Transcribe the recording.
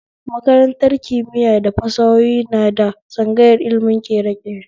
Makaratar kimiya da fasahohi na da tsangayar ilimin ƙereƙere